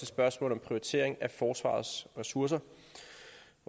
spørgsmål om prioritering af forsvarets ressourcer